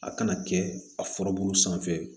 A kana kɛ a furabulu sanfɛ